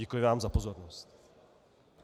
Děkuji vám za pozornost.